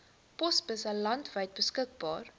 posbusse landwyd beskikbaar